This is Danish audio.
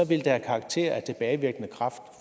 det have karakter af tilbagevirkende kraft